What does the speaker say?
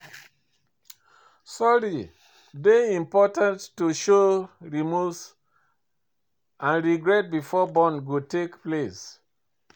Sorry dey important to show remorse and regret before bond go take place.